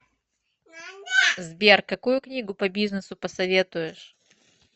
сбер какую книгу по бизнесу посоветуешь